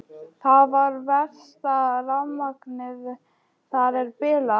Það er verst að rafmagnið þar er bilað.